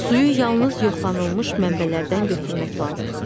Suyu yalnız yoxlanılmış mənbələrdən götürmək lazımdır.